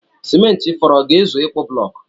Simenti fọrọ ọ ga-ezu ịkpụ bụlọọkụ?